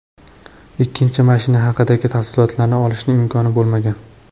Ikkinchi mashina haqidagi tafsilotlarni olishning imkoni bo‘lmagan.